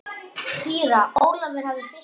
Síra Ólafur hafði fitnað.